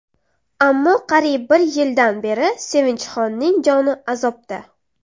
Ammo qariyb bir yildan beri Sevinchxonning joni azobda.